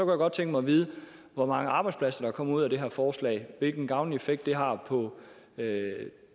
godt tænke mig at vide hvor mange arbejdspladser der kommer ud af det her forslag og hvilken gavnlig effekt det har på